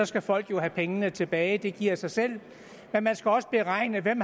skal folk jo have pengene tilbage det giver sig selv men man skal også beregne hvem